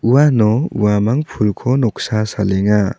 uano uamang pulko noksa salenga.